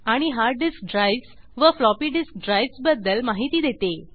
आणि hard disk drives व floppy disk drives बद्दल माहिती देते